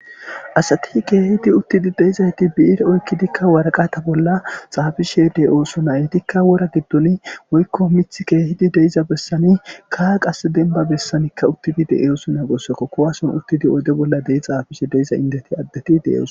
Asti kehidi uttidi deizayti bi'ire oykkidi waraqqatta bolla xafishshe da'ossona ettika wora giddon woykko miththi kehidi deizza bessan qasse dembba bessanika uttidi de'ossona gessuko kuwasen uttidi oydde bolla dei xaafishe deiza inddeti addeti de'osson.